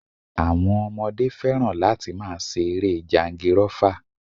Àwọn ọmọdé fẹ́ràn láti máa ṣe eré jangirọ́fa